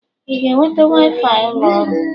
Ị na-enweta waifai ụlọ ọrụ?